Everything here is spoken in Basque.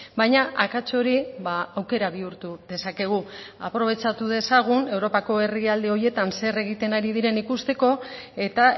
baina akats hori aukera bihurtu dezakegu aprobetxatu dezagun europako herrialde horietan zer egiten ari diren ikusteko eta